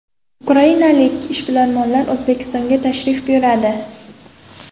Ukrainalik ishbilarmonlar O‘zbekistonga tashrif buyuradi.